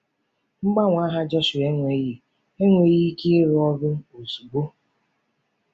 Mgbanwe aha Jọshụa enweghị enweghị ike ịrụ ọrụ ozugbo.